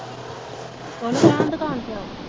ਉਹਨੂੰ ਕਹੋ ਦੁਕਾਨ ਤੇ ਆਉ